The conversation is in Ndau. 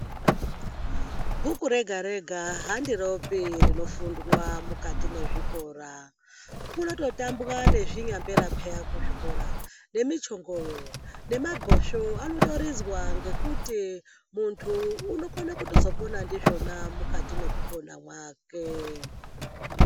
Bhuku rega rega handiropi rinofundwa mukati mwezvikora kunototambwa nezvinyambera peya kuzvikora nemichongoyo nemabhosvo anotoridzwa ngekuti muntu unokone kutozopona ndizvona mukati mwekupona mwake.